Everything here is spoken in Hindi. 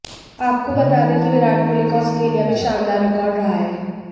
आपको बता दें कि विराट कोहली का ऑस्ट्रेलिया में शानदार रिकॉर्ड रहा है